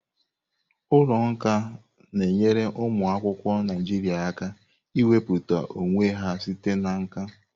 Ụlọ nka na-enyere ụmụ akwụkwọ Naijiria aka ikwupụta onwe ha site na nka.